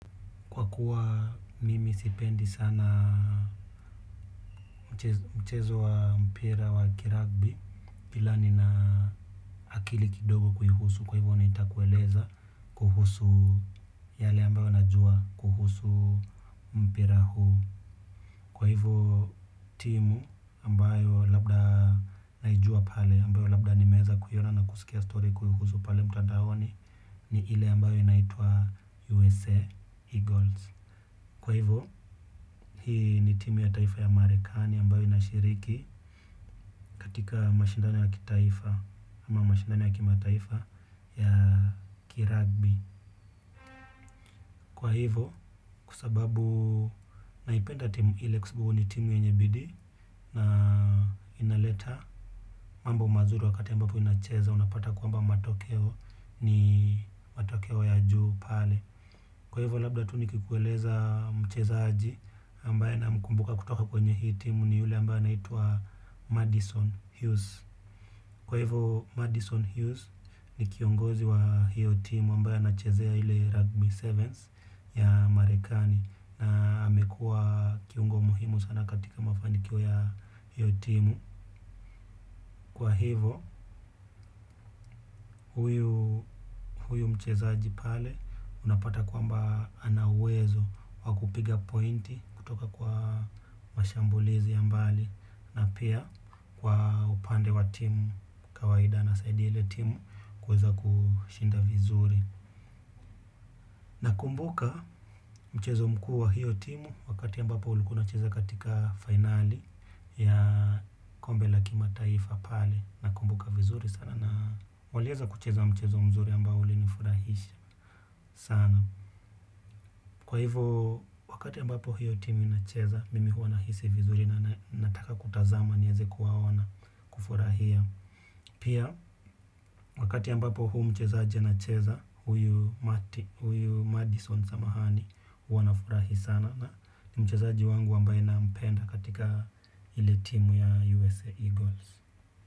Kwa kuwa mimi sipendi sana mchezo wa mpira wakirugby ila nina akili kidogo kuihusu kwa hivyo nitakueleza kuhusu yale ambayo najua kuhusu mpira huu. Kwa hivyo timu ambayo labda naijua pale ambayo labda nimeeza kuiona na kusikia story kuihusu pale mtandaoni ni ile ambayo inaitwa USA Eagles. Kwa hivo, hii ni timu ya taifa ya marekani ambayo inashiriki katika mashindano ya kitaifa ama mashindano ya kimataifa ya kiragbi. Kwa hivo, kwa sababu naipenda timu ile kwa sababu ni timu yenye bidii na inaleta mambo mazuri wakati ambapo inacheza unapata kwamba matokeo ni matokeo ya juu pale. Kwa hivo labda tu nikikueleza mchezaji ambaye namkumbuka kutoka kwenye hii timu ni yule ambaye naitwa Madison Hughes. Kwa hivo Madison Hughes ni kiongozi wa hiyo timu ambaye anachezea ile rugby 7s ya marekani na amekua kiungo muhimu sana katika mafanikio ya hiyo timu. Kwa hivo huyu mchezaji pale unapata kwamba ana uwezo wa kupiga pointi kutoka kwa mashambulizi ya mbali na pia kwa upande wa timu kawaida anasaidia ile timu kueza kushinda vizuri. Nakumbuka mchezo mkuu wa hiyo timu wakati ambapo ulikua unacheza katika finali ya kombe la kimataifa pale nakumbuka vizuri sana na walieza kucheza mchezo mzuri ambao ulinifurahisha sana. Kwa hivyo, wakati ambapo hiyo timu inacheza, mimi huwa nahisi vizuri na nataka kutazama nieze kuwaona kufurahia. Pia, wakati ambapo huu mchezaji anacheza, huyu Madison Samahani huwa nafurahi sana ni mchezaji wangu ambaye nampenda katika ile timu ya USA Eagles.